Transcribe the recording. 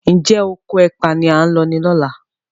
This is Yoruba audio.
Njé Okò ẹpa ní a ń ló ní ọlá?